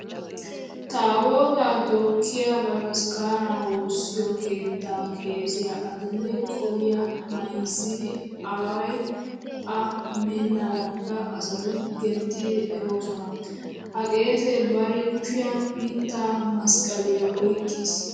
Taabootaa tookkiya bataskkaanaa woossiyo keettaa qeesiya adil"e qoliya mayzzidi away A meennaadankka asati genttidi efoosona. Ha qeesee bari kushiyan mittaa masqqaliya oyqqiis.